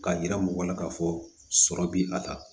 K'a jira mɔgɔ la k'a fɔ sɔrɔ bi a ta